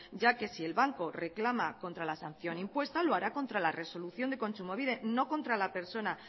ya que si el banco reclama contra la sanción impuesta lo hará contra la resolución de kontsumobide no contra la persona